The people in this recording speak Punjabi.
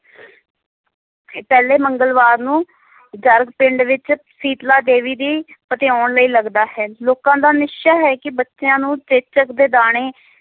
ਇਹ ਪਹਿਲੇ ਮੰਗਲਵਾਰ ਨੂੰ ਜਰਗ ਪਿੰਡ ਵਿੱਚ ਸੀਤਲਾ ਦੇਵੀ ਦੀ ਪਤਿਆਉਣ ਲਈ ਲਗਦਾ ਹੈ, ਲੋਕਾਂ ਦਾ ਨਿਸ਼ਚਾ ਹੈ ਕਿ ਬੱਚਿਆਂ ਨੂੰ ਚੇਚਕ ਦੇ ਦਾਣੇ,